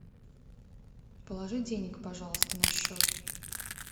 положи денег пожалуйста на счет